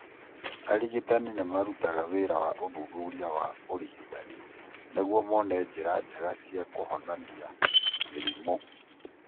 Arigitani nĩ marutaga wĩra wa ũthuthuria wa ũrigitani nĩguo mone njĩra njega cia kũhonania mĩrimũ.